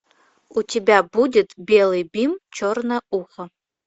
у тебя будет белый бим черное ухо